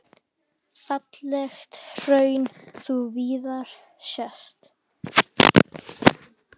Ferlegt hraun þú víða sérð.